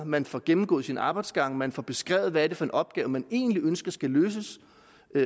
man får gennemgået sine arbejdsgange man får beskrevet hvad det er for en opgave man egentlig ønsker skal løses